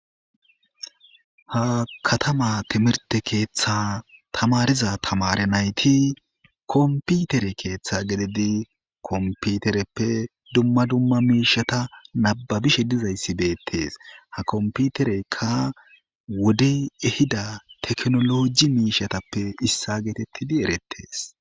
Ha katama timirte keeththa tamariza tamare nayti komputere keeththa gelidi komputereppe dumma dumma miishata nababishe dizayssi beettees ha komputereykka wodey ehida teknoloji miishatappe issa geetettidi erettees.